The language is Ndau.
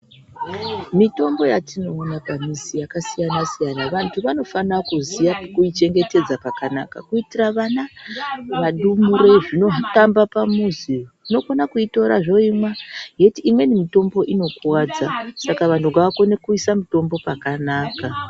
Mitombo yatinoona pamizi yakasiyana siyana Vantu vanofanire kuziye pekuichengetedza kuitira vana ,zvindumurere zvinotamba pamuzi zvinokona kuitora zvoimwa yeti imweni mitombo inokuwadza, saka vanhu ngavakone kuise mutombo pakanaka.